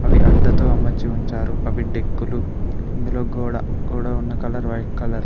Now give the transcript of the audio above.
అవి అట్టతో అమర్చి ఉంచారు అవి డెక్కులు ఇందులో గోడ గోడ ఉన్న కలర్ వైట్ కలర్ .